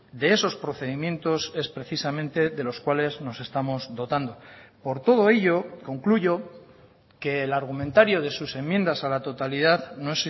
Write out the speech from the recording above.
de esos procedimientos es precisamente de los cuales nos estamos dotando por todo ello concluyo que el argumentario de sus enmiendas a la totalidad no